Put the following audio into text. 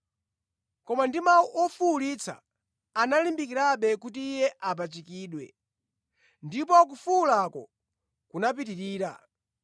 Koma ndi mawu ofuwulitsa, analimbikirabe kuti Iye apachikidwe, ndipo kufuwulako kunapitirira.